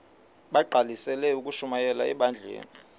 bagqalisele ukushumayela ebandleni